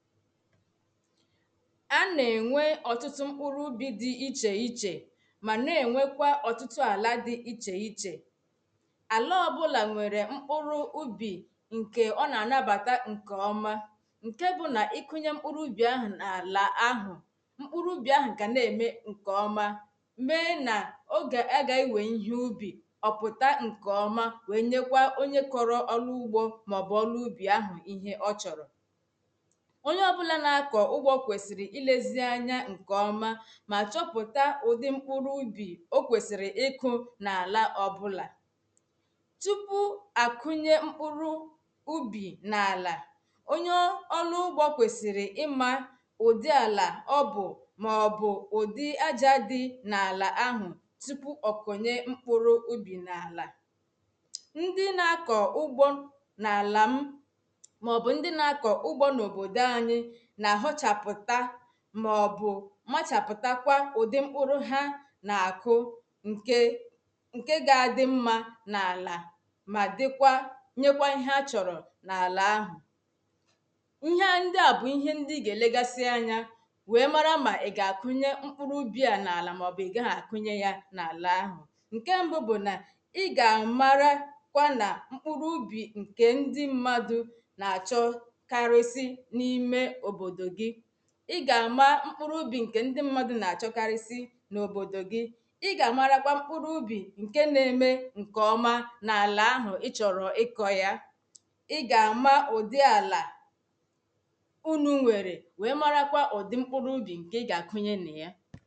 à nà ènwe ọtụtụ mkpụrụ ubi dị ichè ichè ma na-enwekwa ọtụtụ àlà dị ichè ichè àla ọbụlà nwere mkpụrụ ubi nke ọ na-anabata nke ọma nke bụ n’ịkụnye mkpụrụ ubi ahụ n’àlà ahụ̀ mkpụrụ ubi ahụ̀ṅụ̀ ka na-eme nke ọma mee na ụ gà ị ga-enwe ihe ubi ọ̀pụta nke ọ̀ma wee nyekwa onye kọrọ ọlụugbo maọbụ ọlụu ubi ahụ̀̀ ihe ọ chọrọ ịga ọbụla na-akọ ụgbọ kwesiri ilezi anya nkeọma ma chọpụta ụdị mkpụrụ ubi o kwesiri ịkụ na ala ọbụla tupu akụnye mkpụrụ ubi na ala onyo ọlụ ugbo kwesiri ịma ụdị ala ọbụ maọbụ ụdị aja dị na ala ahụ tupu ọkụnye mkpụrụ ubi na ala ndị na-akọ ugbo na ala m maọbụ ndị na-akọ ugbo n'obodo anyị maọbụ machapụtakwa ụdị mkpụrụ ha na-akụ nke nke ga-adị mma n’ala ma dịkwa nyekwa ihe a chọrọ n’ala ahụ ihe a ndị a bụ ihe ndị i ga-elegasị anya wee mara ma ị ga-akụnye mkpụrụ ubi ya n’ala maọbụ ị ga-akụnye ya n’ala ahụ nke mbụ bụ na ị ga-amara kwa na mkpụrụ ubi nke ndị mmadụ ị̀ ga-ama mkpụrụ ubì ǹkè ndi mmadụ̀ na-achọkarịsị n’òbòdò gị̀ ị ga-amara kwa mkpụrụ ubì ǹke na-eme ǹkè ọma n’ala ahụ̀ ị chọ̀rọ̀ ịkọ̀ ya ị ga-ama ụdị alà unu̇ nwèrè wee mara kwa ụ̀dị mkpụrụ ubì ǹkè ị ga-akụnye nà ya